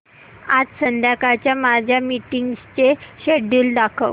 आज संध्याकाळच्या माझ्या मीटिंग्सचे शेड्यूल दाखव